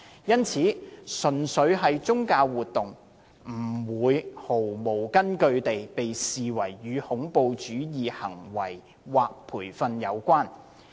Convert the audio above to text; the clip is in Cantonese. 因此，純粹的宗教活動，不會毫無根據地被視為與恐怖主義行為或培訓有關。